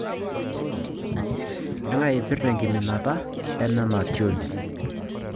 Kang'ae ipirta enkimanata enena tioli